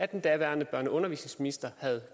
den daværende børne og undervisningsminister